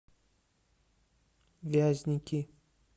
вязники